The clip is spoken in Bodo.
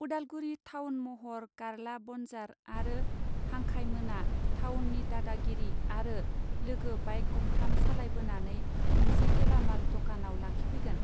उदालगुरि थावन महर गारला बनजार आरो हांखाय मोना थावननि दादागिरि आरो लोगो बाइक गंथाम सालायबोनानै मोनसे गेलामाल दकानाव लाखिफैगोन.